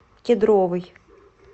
кедровый